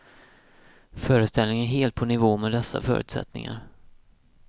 Föreställningen är helt på nivå med dessa förutsättningar.